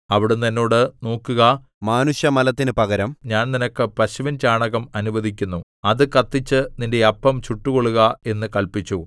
അവിടുന്ന് എന്നോട് നോക്കുക മാനുഷമലത്തിനു പകരം ഞാൻ നിനക്ക് പശുവിൻചാണകം അനുവദിക്കുന്നു അത് കത്തിച്ച് നിന്റെ അപ്പം ചുട്ടുകൊള്ളുക എന്ന് കല്പിച്ചു